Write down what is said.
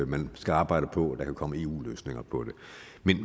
man skal arbejde på at der kan komme eu løsninger på det